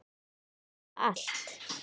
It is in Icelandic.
Ég játa allt